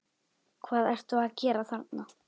HVAÐ ERTU AÐ GERA ÞARNA!